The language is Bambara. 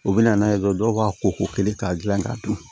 U bɛ na n'a ye dɔrɔn dɔw b'a ko ko kelen k'a dilan k'a dun